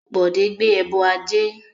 Bode gbé ẹbọ ajé